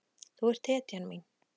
Þú ert hetjan mín.